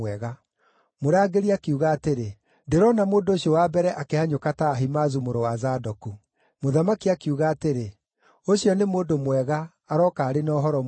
Mũrangĩri akiuga atĩrĩ, “Ndĩrona mũndũ ũcio wa mbere akĩhanyũka ta Ahimaazu mũrũ wa Zadoku.” Mũthamaki akiuga atĩrĩ, “Ũcio nĩ mũndũ mwega, arooka arĩ na ũhoro mwega.”